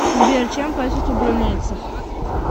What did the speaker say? сбер чем платят у брунейцев